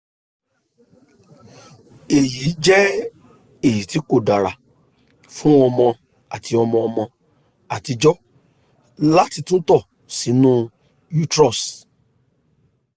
eyi jẹ eyiti ko dara fun ọmọ ati ọmọ ọmọ atijọ lati tunto sinu uterus